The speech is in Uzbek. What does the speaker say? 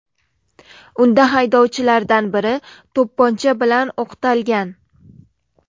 Unda haydovchilardan biri to‘pponcha bilan o‘qtalgan.